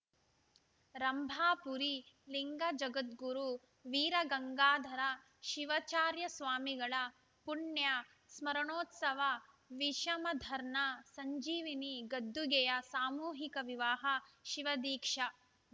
ರಂಭಾಪುರಿ ಲಿಂಗ ಜಗದ್ಗುರು ವೀರ ಗಂಗಾಧರ ಶಿವಾಚಾರ್ಯ ಸ್ವಾಮಿಗಳ ಪುಣ್ಯ ಸ್ಮರಣೋತ್ಸವ ವಿಷಮರ್ಧನ ಸಂಜೀವಿನಿ ಗದ್ದುಗೆಯ ಸಾಮೂಹಿಕ ವಿವಾಹ ಶಿವದೀಕ್ಷಾ